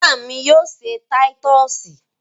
Ìyá mi yóò se títọ́sì.